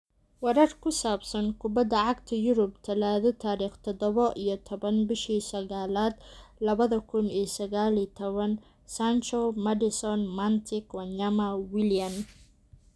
Warar ku saabsan Kubada Cagta Yurub Talaado tarikh dodaba iyo tawan bishi saqalad lawadha kun iyo saqal iyo tawan: Sancho, Maddison, Matic, Wanyama, Willian